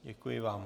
Děkuji vám.